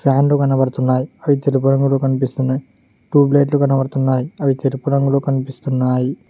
ఫ్యాన్లు కనబడుతున్నాయ్ అవి తెలుపు రంగులో కనిపిస్తున్నాయ్ ట్యూబ్ లైట్లు కనపడుతున్నాయ్ అవి తెలుపు రంగులో కనిపిస్తున్నాయి.